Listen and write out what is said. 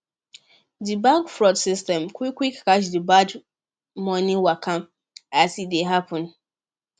di bank fraud system quick quick catch the bad money waka as e dey happen